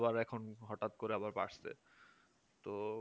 তো আবার এখন হঠাৎ করে আবার বাড়ছে